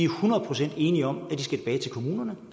kommunerne